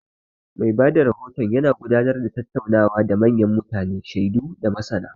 Mai ba da rahoto yana gudanar da tattaunawa da manyan mutane, shaidu, da masana.